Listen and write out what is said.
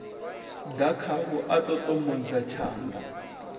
ḓa khavho a ṱoṱomodza tshanḓa